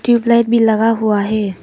Tubelight भी लगा हुआ है।